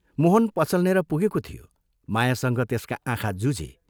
मोहन पसलनेर पुगेको थियो, मायासँग त्यसका आँखा जुझे।